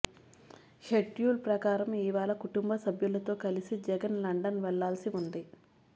schedule ప్రకారం ఇవాళ కుటుంబసభ్యులతో కలిసి జగన్ లండన్ వెళ్లాల్సి ఉంది